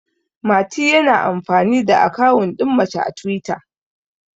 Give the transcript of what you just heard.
mati yana amfani da akawun din mace a twita